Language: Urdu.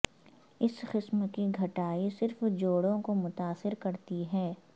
اس قسم کی گٹھائی صرف جوڑوں کو متاثر کرتی ہے